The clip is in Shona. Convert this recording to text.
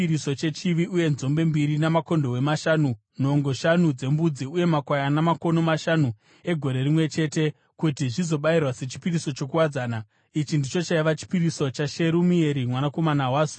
uye nzombe mbiri, makondobwe mashanu, nhongo shanu dzembudzi uye makwayana makono mashanu egore rimwe chete, kuti zvizobayirwa sechipiriso chokuwadzana. Ichi ndicho chaiva chipiriso chaSherumieri mwanakomana waZurishadhai.